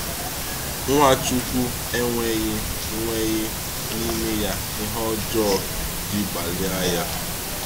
Ǹwáchukwu e nweghị nweghị n’ime ya ihe ọjọọ ji gbalịa ya.